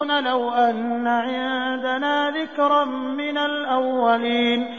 لَوْ أَنَّ عِندَنَا ذِكْرًا مِّنَ الْأَوَّلِينَ